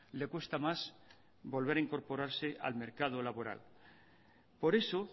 le cuesta más volver a incorporarse al mercado laboral por eso